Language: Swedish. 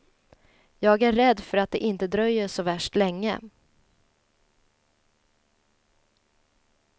Jag är rädd för att det inte dröjer så värst länge.